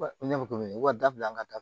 Ne bɛ ko min ka dabila an ka da